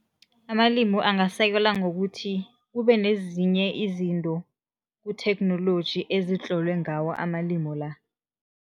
Amalimi angasekelwa ngokuthi kube nezinye izinto kutheknoloji ezitlolwe ngawo amalimu la.